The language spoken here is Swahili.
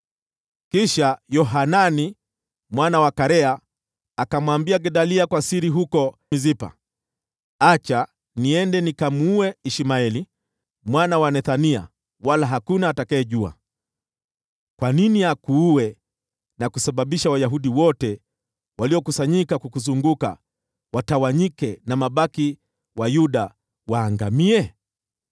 Kisha Yohanani mwana wa Karea akamwambia Gedalia kwa siri huko Mispa, “Acha niende nikamuue Ishmaeli mwana wa Nethania, wala hakuna atakayejua. Kwa nini akuue na kusababisha Wayahudi wote waliokuzunguka watawanyike, na mabaki wa Yuda waangamie?”